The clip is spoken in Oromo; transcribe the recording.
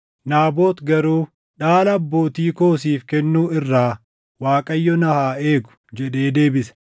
Naabot garuu, “Dhaala abbootii koo siif kennuu irraa Waaqayyo na haa eegu” jedhee deebise.